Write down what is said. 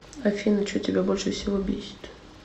афина че тебя больше всего бесит